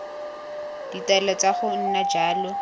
ditaelo tsa go nna jalo